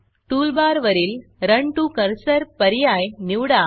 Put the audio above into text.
टूलबारवरील run to Cursorरन to cursor पर्याय निवडा